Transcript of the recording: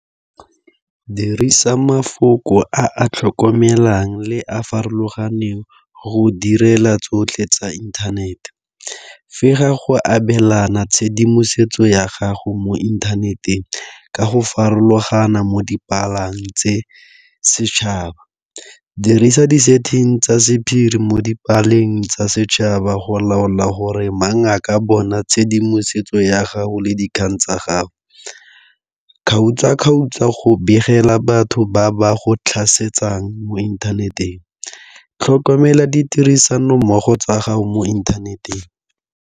Dirisa mafoko a a tlhokomelang le a farologaneng go direla tsotlhe tsa inthanete. go abelana tshedimosetso ya gago mo inthaneteng, ka go farologana mo di palang tse setšhaba. Dirisa di-setting tsa sephiri mo dipaleng tsa setšhaba go laola gore mang a ka bona tshedimosetso ya gago le dikgang tsa gago. Kgaotsa-kgaotsa go begela batho ba ba go tlhasetsang mo inthaneteng, tlhokomela ditirisanommogo tsa gago mo inthaneteng.